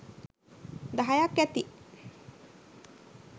දහයක් ඇති.